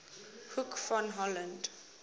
hoek van holland